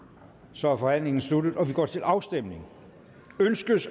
så er forhandlingen sluttet og vi går til afstemning